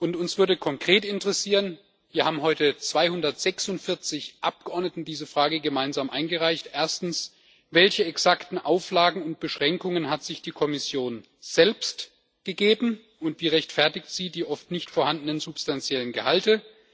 Folgendes würde uns konkret interessieren hier haben heute 246 Abgeordnete diese Anfrage gemeinsam eingereicht Erstens Welche exakten Auflagen und Beschränkungen hat sich die Kommission selbst gegeben, und wie rechtfertigt sie die oft nicht vorhandenen substanziellen Gehalte?